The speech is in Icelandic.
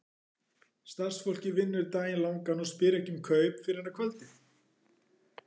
Starfsfólkið vinnur daginn langan og spyr ekki um kaup fyrr en að kvöldi.